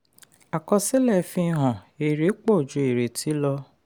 àkọsílẹ̀ fi hàn èrè pọ ju ìrètí lọ.